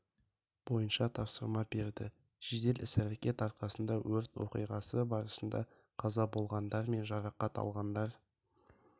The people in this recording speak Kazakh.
бойынша тапсырма берді жедел іс әрекет арқасында өрт оқиғасы барысында қаза болғандар мен жарақат алғандар